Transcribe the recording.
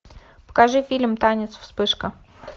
покажи фильм танец вспышка